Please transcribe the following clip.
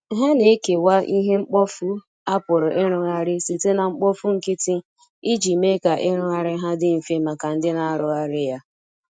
ha na ekewa ihe mkpọfụ a pụrụ irụghari site na mkpofụ nkiti ijii mee ka irughari ha ndi mfe maka ndi na arughari ya